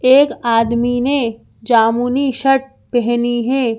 एक आदमी ने जामुनी शर्ट पहनी है।